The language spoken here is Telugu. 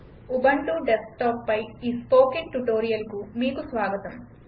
ఉబంటు డెస్క్టాప్పై ఈ స్పోకెన్ ట్యుటోరియల్కు మీకు స్వాగతం